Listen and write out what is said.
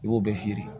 I b'o bɛɛ feere